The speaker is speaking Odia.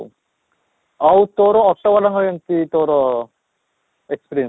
ଆଉ auto ଵାଲା କେମିତି ତୋର april